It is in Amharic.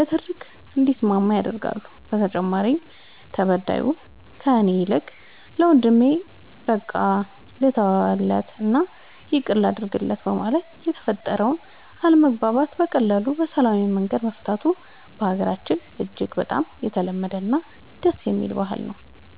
ንትርክ እንዲስማማ ያደርጋሉ በተጨማሪም ተበዳዩ ከእኔ ይልቅ ለወንድሜ በቃ ልተውለት እና ይቅርታ ላድርግለት በማለት የተፈጠረውን አለመግባባት በቀላሉ በሰላማዊ መንገድ መፍታቱ በሀገራችን እጅግ በጣም የተለመደ እና ደስ የሚል ባህል ነው።